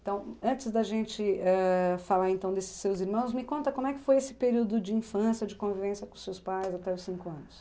Então, antes da gente ãh falar então desses seus irmãos, me conta como é que foi esse período de infância, de convivência com seus pais até os cinco anos?